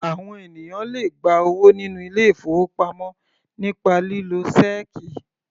Àwọn ènìyàn le gba owó nínú ilé-ìfowópamọ́ nípa lílo ṣẹ́ẹ́kì.